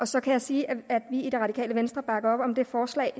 så kan jeg sige at vi i det radikale venstre bakker op om det forslag